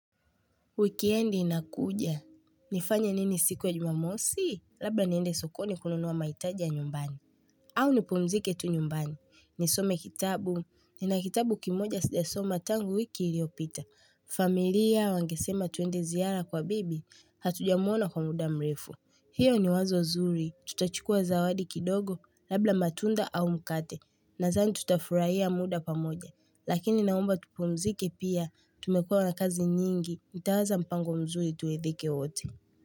Wikiendi inakuja. Nifanye nini siku ya jumamosi? Labla niende sokoni kununua mahitaji ya nyumbani. Au nipumzike tu nyumbani. Nisome kitabu. Nina kitabu kimoja sija soma tangu wiki iliopita. Familia wangesema tuende ziara kwa bibi. Hatuja mwona kwa muda mrefu. Hio ni wazo zuri. Tutachukua zawadi kidogo. Labla matunda au mkate. Nazani tutafurahia muda pamoja, lakini naomba tupumzike pia, tumekuwa na kazi nyingi, ntaaza mpango mzuri tuedhike wote.